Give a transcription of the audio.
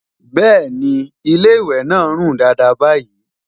bẹẹni, ilé ìwé nà rún Dàda bayi